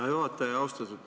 Hea juhataja!